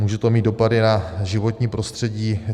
Může to mít dopady na životní prostředí.